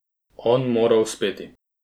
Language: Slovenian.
On mora uspeti.